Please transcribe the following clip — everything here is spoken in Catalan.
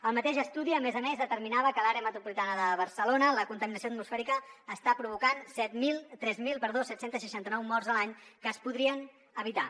el mateix estudi a més a més determinava que a l’àrea metropolitana de barcelona la contaminació atmosfèrica està provocant tres mil set cents i seixanta nou morts l’any que es podrien evitar